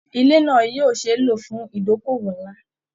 Ilé náà yóò ṣe é lò fún ìdókòwò ńlá